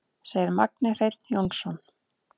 Segir Magni Hreinn Jónsson.